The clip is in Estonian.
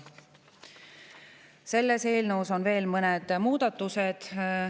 Selles eelnõus on veel mõned muudatused.